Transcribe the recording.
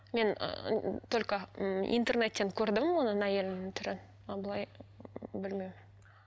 мен ыыы только ммм интернеттен көрдім оның әйелінің түрін а былай білмеймін